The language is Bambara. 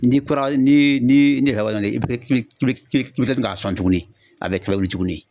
N'i kura ni ni ni k'i be k'i be k'i be k'i be kila k'a sɔn tuguni a be kura wuli tuguni